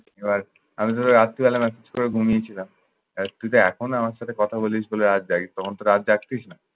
এবার আমি তোকে রাত্রিবেলা message করে ঘুমিয়েছিলাম। আহ তুই এখন আমার সাথে কথা বলিস বলে রাত জাগিস তখন তো রাত জাগতিস না।